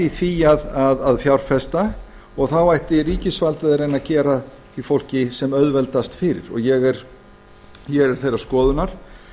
því að fjárfesta og þá ætti ríkisvaldið að reyna að gera því fólki sem auðveldast fyrir ég er þeirrar skoðunar